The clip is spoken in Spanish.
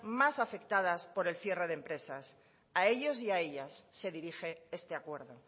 más afectadas por el cierre de empresas a ellos y a ellas se dirige este acuerdo